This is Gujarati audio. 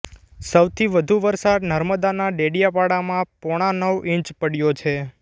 સૌથી વધુ વરસાદ નર્મદાના ડેડિયાપાડામાં પોણા નવ ઈંચ પડયો છે